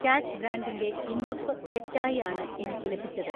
കാച്ച് ബ്രാൻഡിൻ്റെ ഇന്തുപ്പ് തെറ്റായി ആണ് എനിക്ക് ലഭിച്ചത്.